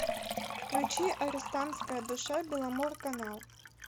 включи арестантская душа беломорканал